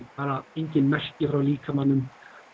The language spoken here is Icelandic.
engin merki frá líkamanum